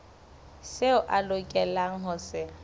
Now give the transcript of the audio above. seo a lokelang ho se